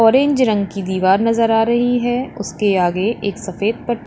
orange रंग की दीवार नजर आ रही है उसके आगे एक सफेद प--